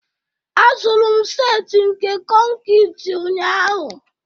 azụrụ m set nke konkịtị ụnyahụ